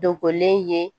Dogolen ye